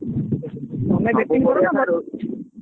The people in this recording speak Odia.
batting କର ନା bowling ।